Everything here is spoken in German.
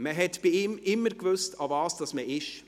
Man hat bei ihm immer gewusst, woran man ist.